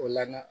O la